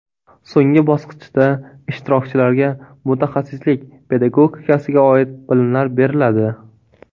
So‘nggi bosqichda ishtirokchilarga mutaxassislik pedagogikasiga oid bilimlar beriladi.